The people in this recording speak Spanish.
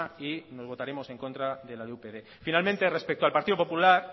y votaremos en contra de la de upyd finalmente respecto al partido popular